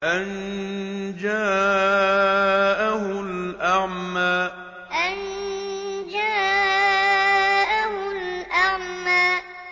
أَن جَاءَهُ الْأَعْمَىٰ أَن جَاءَهُ الْأَعْمَىٰ